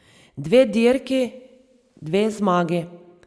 Dve dirki, dve zmagi.